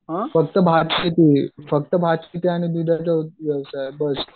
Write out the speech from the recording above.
फक्त भात किती फक्त भात की ती आणि